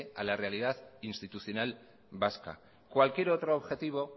a la realidad institucional vasca cualquier otro objetivo